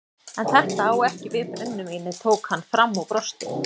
En þetta á ekki við brennivínið tók hann fram og brosti.